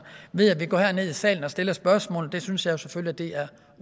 ved at vi går her ned i salen og stiller spørgsmål det synes jeg selvfølgelig er